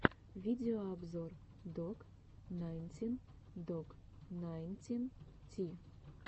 видеообзор док найнтин док найнтин ти